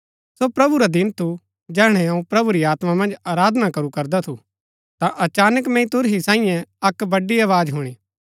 सो प्रभु रा दिन थू जैहणै अऊँ पवित्र आत्मा मन्ज आराधना करू करदा थू ता अचानक मैंई तुरही सांईये अक्क वड़ी आवाज हुणी